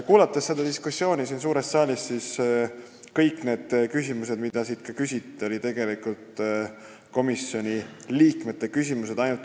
Kuulanud seda diskussiooni siin suures saalis, võib öelda, et kõik küsimused, mida siin täna küsiti, olid tegelikult komisjoni liikmete küsimused.